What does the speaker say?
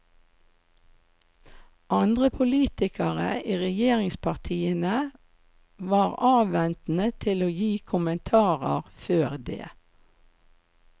Andre politikere i regjeringspartiene var avventende til å gi kommentarer før det.